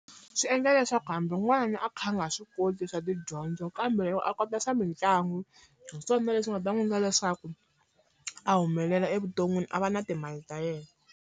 Swi endla leswaku hambi n'wana a kha a nga swi koti swa tidyondzo kambe loko a kota swa mitlangu, hi swona leswi nga ta n'wi endla leswaku a humelela evuton'wini a va na timali ta yena.